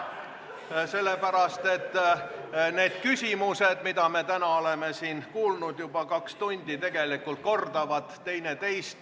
Seda sellepärast, et need küsimused, mida me täna oleme siin juba peaaegu kaks tundi kuulnud, kordavad tegelikult üksteist.